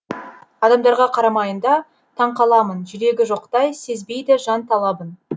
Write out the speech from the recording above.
адамдарға қараймында таңқаламын жүрегі жоқтай сезбейді жан талабын